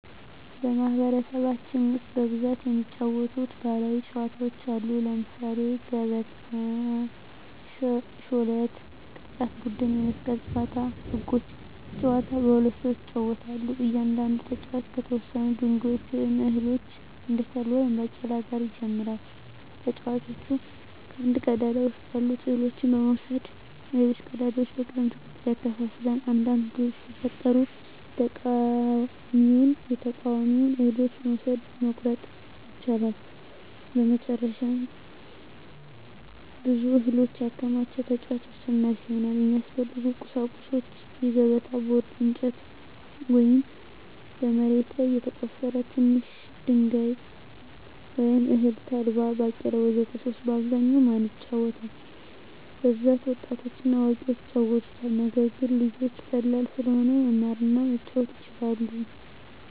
በማኅበረሰባችን ውስጥ በብዛት የሚጫወቱ ባሕላዊ ጨዋታዎች አሉ። ለምሳሌ 1, ገበታ 2, ሾለት 3, ቅርጫት ቡድን የመስቀል ጨዋታ 1. ህጎች : ጨዋታው በሁለት ሰዎች ይጫወታል። እያንዳንዱ ተጫዋች ከተወሰኑ ድንጋዮች ወይም እህሎች (እንደ ተልባ ወይም ባቄላ) ጋር ይጀምራል። ተጫዋቹ ከአንድ ቀዳዳ ውስጥ ያሉትን እህሎች በመውሰድ በሌሎች ቀዳዳዎች በቅደም ተከተል ያከፋፍላል። አንዳንድ ሁኔታዎች ሲፈጠሩ የተቃዋሚውን እህሎች መውሰድ (መቆረጥ) ይቻላል። መጨረሻ ብዙ እህል ያከማቸ ተጫዋች አሸናፊ ይሆናል። 2. የሚያስፈልጉ ቁሳቁሶች: የገበታ ቦርድ (በእንጨት ወይም በመሬት ላይ የተቆፈረ) ትንሽ ድንጋይ ወይም እህል (ተልባ፣ ባቄላ ወዘተ) 3. በአብዛኛው ማን ይጫወታል? በብዛት ወጣቶችና አዋቂዎች ይጫወቱታል። ነገር ግን ልጆችም ቀላል ስለሆነ መማር እና መጫወት ይችላሉ።